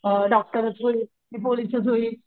अ डॉक्टरच होईल मी पोलीस च होईल,